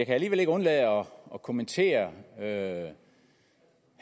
alligevel ikke undlade at kommentere herre